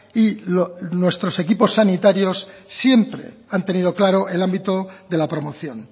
y nuestros equipos sanitarios siempre han tenido claro el ámbito de la promoción